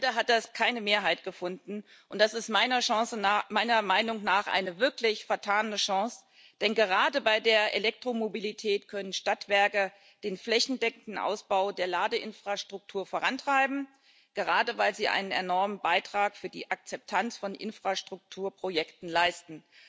Leider hat das keine Mehrheit gefunden, und das ist meiner Meinung nach eine wirklich vertane Chance, denn gerade bei der Elektromobilität können Stadtwerke den flächendeckenden Ausbau der Ladeinfrastruktur vorantreiben, gerade weil sie einen enormen Beitrag für die Akzeptanz von Infrastrukturprojekten leisten.